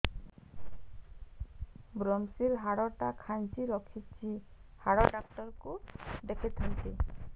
ଵ୍ରମଶିର ହାଡ଼ ଟା ଖାନ୍ଚି ରଖିଛି ହାଡ଼ ଡାକ୍ତର କୁ ଦେଖିଥାନ୍ତି